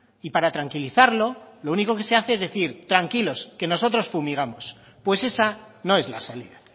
y para tranquilizarlo lo único que se hace es decir tranquilos que nosotros fumigamos pues esa no es la salida